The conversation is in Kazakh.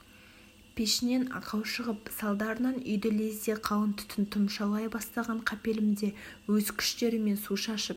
пешінен ақау шығып салдарынан үйді лезде қалың түтін тұмшалай бастаған қапелімде өз күштерімен су шашып